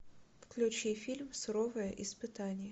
включи фильм суровое испытание